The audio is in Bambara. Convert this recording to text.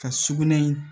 Ka sugunɛ in